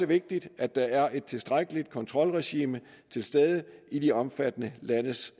vigtigt at der er et tilstrækkeligt kontrolregime til stede i de omfattede landes